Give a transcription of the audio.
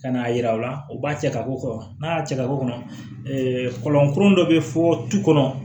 Ka n'a yira u la u b'a cɛ ka k'o kɔnɔ n'a y'a cɛ ka bɔ kɔnɔ kɔlɔnkurun dɔ be fɔ du kɔnɔ